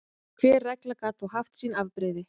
Hver regla gat þó haft sín afbrigði.